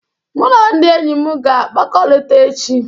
Mụ na ndị enyi m ga-akpakọrịta echi